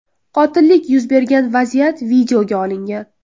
Qotillik yuz bergan vaziyat videoga olingan.